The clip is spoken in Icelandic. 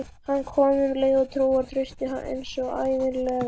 Hann kom um leið, trúr og traustur eins og ævinlega.